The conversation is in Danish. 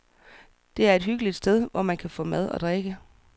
Det er et hyggeligt sted, hvor man kan få mad og drikke.